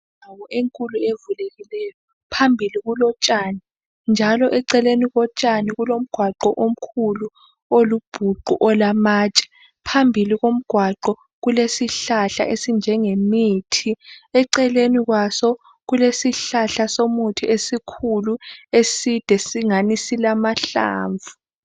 Indawo enkulu evulekileyo. Phambili kulotshani. Njalo eceleni kotshani kulomgwaqo omkhulu olubhuqu olamatshe. Phambili komgqwaqo kulesihlahla esinjenge mithi. Eceleni kwaso kulesihlahla somuthi esikhulu eside singani silamahlamvu.